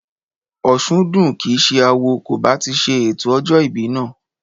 Òsúndùn kìí ṣe awo kò bá ti ṣe ètò ọjọ́ ìbí náà